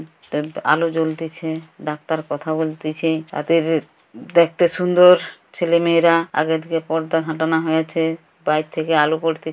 আলো জ্বলতিছে ডাক্তার কথা বলতিছে তাদের-র দেখতে সুন্দ-ওর ছেলেমেয়েরা আগে থেকে পর্দা হাটানো হয়েছে বাহির থেকে আলো পড়তে--